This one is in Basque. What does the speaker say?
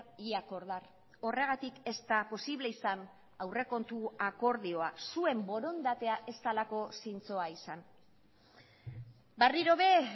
y acordar horregatik ez da posible izan aurrekontu akordioa zuen borondatea ez delako zintzoa izan berriro ere